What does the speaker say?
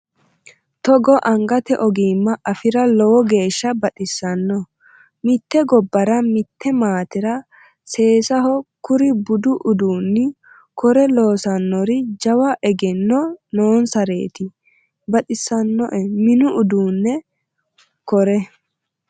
Togo angate ogima afira lowo geeshsha baxisano mite gobbara mite maatera seessaho kuri budu uduuni kore loossanori jawa egenno noonsareti baxisinoe mini uduune kore.